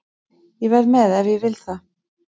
Ég verð með ef ég vil það.